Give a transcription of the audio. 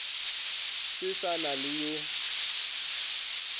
se sa na le yo